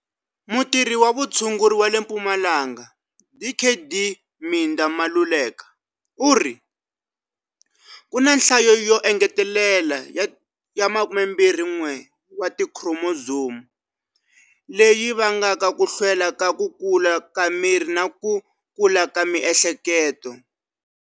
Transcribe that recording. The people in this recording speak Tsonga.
Mutirhi wa vutshunguri wa le Mpumalanga Dkd Midah Maluleka u ri, Ku na nhlayo yo engetelela ya 21 wa tikhiromozomu leyi yi vangaka ku hlwela ka ku kula ka miri na ku kula ka miehleketo.